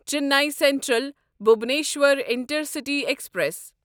Chennai central Bhubaneswar intercity express